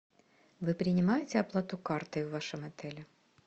вы принимаете оплату картой в вашем отеле